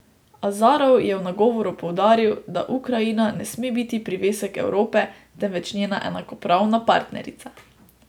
Azarov je v nagovoru poudaril, da Ukrajina ne sme biti privesek Evrope, temveč njena enakopravna partnerica.